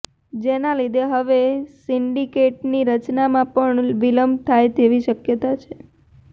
જેના લીધે હવે સિન્ડિકેટની રચનામાં પણ વિલંબ થાય તેવી શકયતાં છે